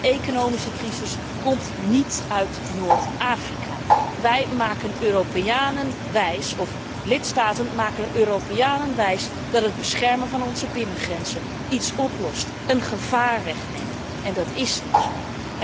De economische crisis komt niet uit Noord Afrika. Wij maken de Europeanen wijs, of lidstaten maken de Europeanen wijs dat het beschermen van onze binnengrenzen iets oplost, een gevaar wegneemt, en dat is niet zo.